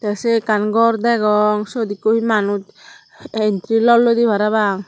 te se ekkan gor degong syot ekko hi manuj entri lolloidi parapang.